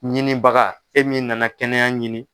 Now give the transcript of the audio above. Ɲinibaga e min nana kɛnɛya ɲini.